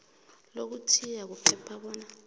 lokuthiya kuphela bona